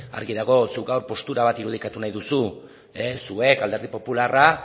argi dagoela zuk gaur postura bat irudikatu nahi duzula zuek alderdi popularra